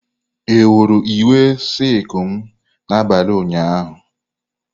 Ị hụrụ uwe silku m n'abalị ụnyaahụ?